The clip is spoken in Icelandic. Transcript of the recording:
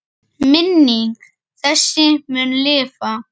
Minning þessi mun lifa.